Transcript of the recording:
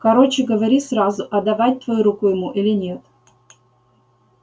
короче говори сразу отдавать твою руку ему или нет